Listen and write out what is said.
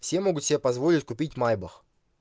все могут себе позволить купить майбах